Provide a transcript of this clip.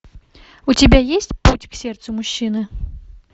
у тебя есть путь к сердцу мужчины